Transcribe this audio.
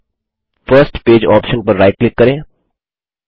फिर first page option पर right click करें